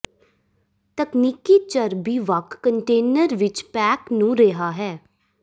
ਤਕਨੀਕੀ ਚਰਬੀ ਵੱਖ ਕੰਟੇਨਰ ਵਿੱਚ ਪੈਕ ਨੂੰ ਰਿਹਾ ਹੈ